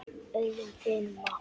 öðrum þyrma.